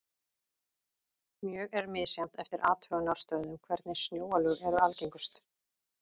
Mjög er misjafnt eftir athugunarstöðvum hvernig snjóalög eru algengust.